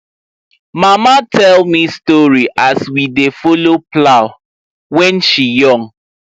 mama tell me story as we dey follow plow when she young